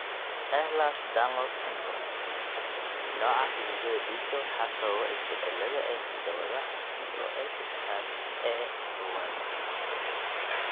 Ehlers Danlos syndrome (EDS), nooca xididdada dhiigga waxaa sababa isbeddellada (isbeddellada) ee hidda-wadaha COL sedexad A kowaad.